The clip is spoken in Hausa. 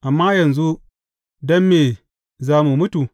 Amma yanzu, don me za mu mutu?